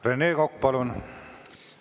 Rene Kokk, palun!